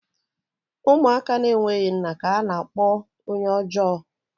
Ụmụaka na-enweghị nna ka a na-akpọ onye ọjọọ